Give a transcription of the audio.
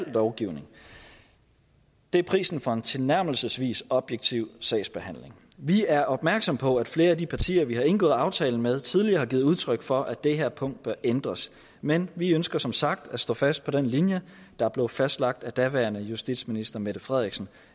lovgivning det er prisen for en tilnærmelsesvis objektiv sagsbehandling vi er opmærksomme på at flere af de partier vi har indgået aftalen med tidligere har givet udtryk for at det her punkt bør ændres men vi ønsker som sagt at stå fast på den linje der blev fastlagt af daværende justitsminister fru mette frederiksen